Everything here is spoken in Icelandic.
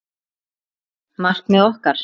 Markmið okkar?